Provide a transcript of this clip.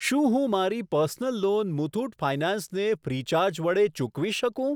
શું હું મારી પર્સનલ લોન મુથુટ ફાયનાન્સ ને ફ્રીચાર્જ વડે ચૂકવી શકું?